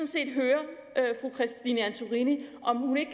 set høre fru christine antorini om hun ikke